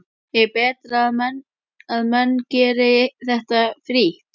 Er betra að menn geri þetta frítt?